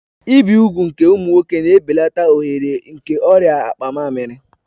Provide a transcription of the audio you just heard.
Ibi úgwù nke ụmụ nwoke na-ebelata ohere nke ọrịa akpa mmamiri